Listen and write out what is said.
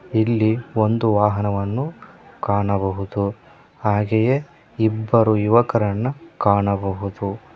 ಇಲ್ಲಿ ಒಂದು ವಾಹನವನ್ನು ಕಾಣಬಹುದು ಹಾಗೆಯೇ ಇಬ್ಬರು ಯುವಕರನ್ನು ಕಾಣಬಹುದು.